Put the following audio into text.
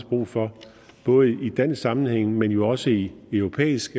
brug for både i dansk sammenhæng men jo også i europæisk